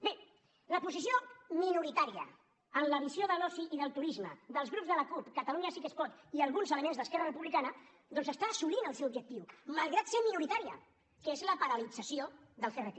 bé la posició minoritària en la visió de l’oci i del turisme dels grups de la cup catalunya sí que es pot i alguns elements d’esquerra republicana doncs està assolint el seu objectiu malgrat ser minoritària que és la paralització del crt